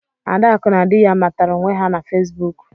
Adaku na dị ya matara onwe her na Fesbụụk.